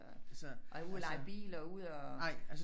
Og ud og leje bil og